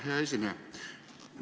Hea esineja!